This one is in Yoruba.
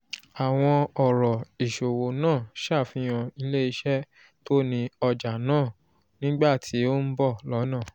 àwọn ọ̀rọ̀ ìsòwò náà ṣàfihàn ilé-iṣẹ́ tó ni ọjà náà nígbà tí ó ń bọ̀ lọ́nà